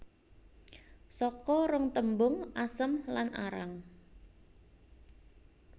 Saka rong tembung asem lan arang